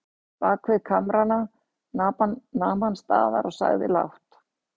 Bakvið kamrana nam hann staðar og sagði lágt